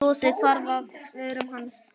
Brosið hvarf af vörum hans.